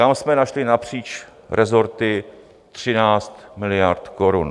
Tam jsme našli napříč resorty 13 miliard korun.